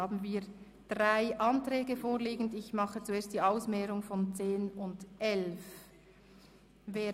Dazu liegen drei Ordnungsanträge vor, die Nummern 10, 11, und 12. Wir nehmen zuerst die Gegenüberstellung der Anträge 10 und 11 vor.